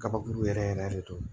Kabakuru yɛrɛ yɛrɛ de don